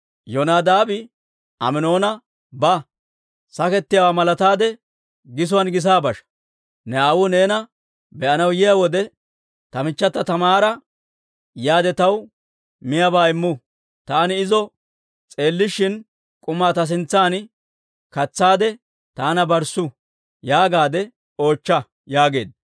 Yonadaabi Aminoona, «Ba; sakettiyaawaa malataade gisuwaan gisa basha. Ne aawuu neena be'anaw yiyaa wode, ‹Ta michchata Taamaara yaade taw miyaabaa immu; taani izo s'eellishin k'umaa ta sintsan katsaade taana barssu› yaagaade oochcha» yaageedda.